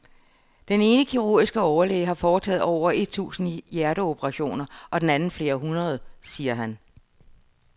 Den ene kirurgiske overlæge har foretaget over et tusind hjerteoperationer og den anden flere hundrede, siger han.